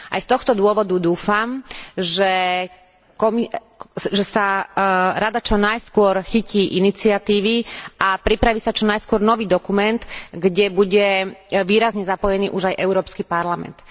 Aj z tohto dôvodu dúfam, že sa Rada čo najskôr chytí iniciatívy a pripraví sa čo najskôr nový dokument, kde bude výrazne zapojený už aj Európsky parlament.